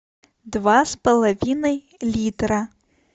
два с половиной литра